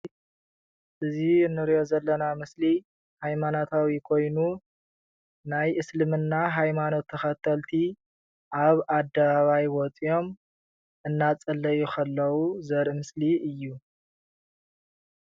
እዚ ንሪኦ ዘለና ምስሊ ሃይማኖታዊ ኮይኑ ናይ እስልማና ሃይማኖት ተከተልቲ ኣብ ኣደባባይ ወፂኦም እናፀለዩ ከለው ዘርኢ ምስሊ እዩ ።